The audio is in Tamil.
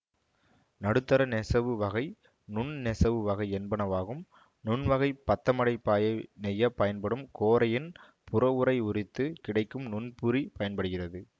நடுத்தர நெசவு வகை நுண் நெசவு வகை என்பனவாகும் நுண்வகைப் பத்தமடை பாயை நெய்ய பயன்படும் கோரையின் புறவுறை உரித்து கிடைக்கும் நுண்புரி பயன்படுகிறது